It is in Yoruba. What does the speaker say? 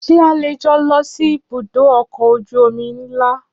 Ṣé a lè jọ lọ sí ibùdó ọkọ̀ ojú omi ńlá?